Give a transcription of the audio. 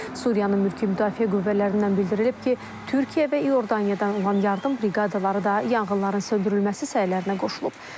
Suriyanın mülki müdafiə qüvvələrindən bildirilib ki, Türkiyə və İordaniyadan olan yardım briqadaları da yanğınların söndürülməsi səylərinə qoşulub.